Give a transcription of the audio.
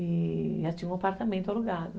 E... já tinha um apartamento alugado.